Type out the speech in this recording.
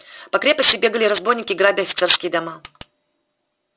по крепости бегали разбойники грабя офицерские дома